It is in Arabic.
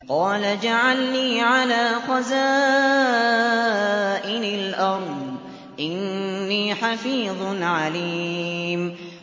قَالَ اجْعَلْنِي عَلَىٰ خَزَائِنِ الْأَرْضِ ۖ إِنِّي حَفِيظٌ عَلِيمٌ